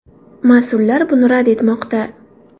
Mas’ullar buni rad etmoqda.